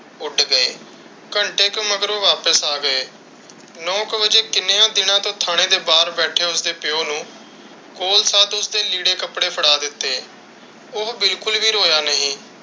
ਉੱਡ ਗਏ। ਘੰਟੇ ਕੁ ਮਗਰੋਂ ਵਾਪਿਸ ਆ ਗਏ। ਨੋ ਇਕ ਵੱਜੇ ਕਿੰਨੀਆਂ ਦੀਨਾ ਤੋਂ ਠਾਣੇ ਦੇ ਬਾਹਰ ਬੈਠੇ ਉਸ ਦੇ ਪਿਓ ਨੂੰ ਲੀੜੇ ਕੱਪੜੇ ਫੜਾ ਦਿੱਤੇ। ਉਹ ਬਿਲਕੁਲ ਵੀ ਰੋਇਆ ਨਹੀਂ।